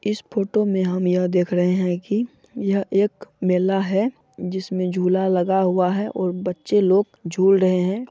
इस फोटो मे हम यह देख रहे है की यह एक मेला है जिसमे झूला लगा हुआ है और बच्चे लोग झूल रहे है।